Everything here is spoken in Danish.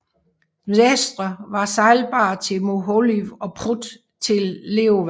Dnestr var sejlbar til Mohyliv og Prut til Leova